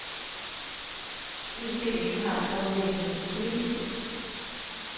Udstillingen har et grundlæggende problem.